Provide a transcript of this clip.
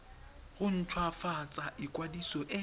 go nt hwafatsa ikwadiso e